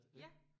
Ja